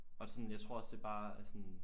Og sådan jeg tror også det bare er sådan